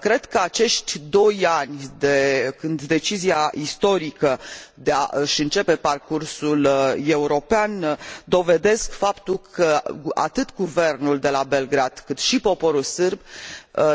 Cred că acești doi ani de la decizia istorică de a își începe parcursul european dovedesc faptul că, atât guvernul de la Belgrad, cât și poporul sârb